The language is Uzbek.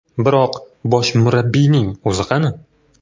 Biroq bosh murabbiyning o‘zi qani?